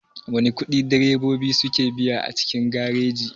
Wana ƙudi direbobi suke biya a cikin gareji?